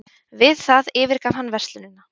Við það yfirgaf hann verslunina